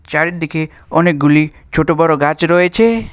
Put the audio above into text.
চারিদিকে অনেকগুলি ছোটো বড়ো গাছ রয়েছে।